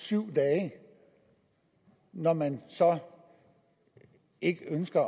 syv dage når man så ikke ønsker